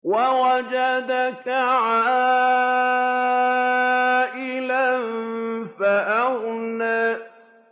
وَوَجَدَكَ عَائِلًا فَأَغْنَىٰ